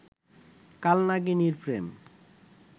কাল নাগিনীর প্রেম